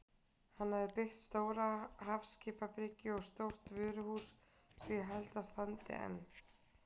Hann hafði byggt stóra hafskipabryggju og stórt vöruhús sem ég held að standi enn.